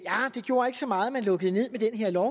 gjorde så meget at man lukkede ned med den her lov